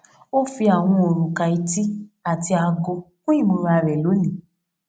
ó fi àwọn òrùka etí àti aago kún ìmúra rè lónìí